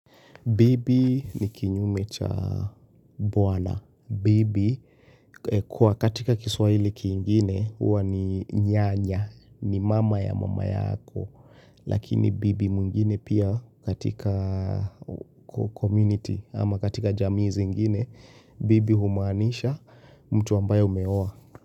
Bibi ni kinyume cha bwana. Bibi kuwa katika kiswahili kingine, huwa ni nyanya, ni mama ya mama yako. Lakini bibi mwengine pia katika community ama katika jamii zingine, bibi humaanisha mtu ambayo umeoa.